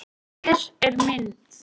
Hér er mynd